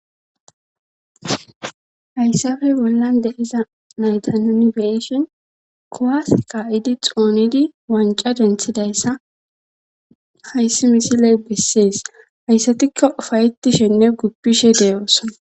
Hayssafe bollan de iza maydanunibeishin kowas qa7idi xoonidi wanca denthidayssa hayssi misiley bessees hayssatikko ufayeti shenne guppishe de7oosona